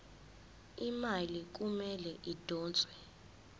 imali kumele idonswe